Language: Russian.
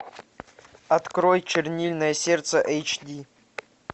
открой чернильное сердце эйч ди